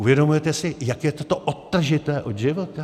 Uvědomujete si, jak je toto odtažité od života?